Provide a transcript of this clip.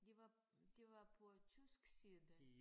De var de var på tysk side